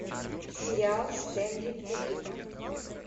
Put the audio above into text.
сериал стэнли кубрика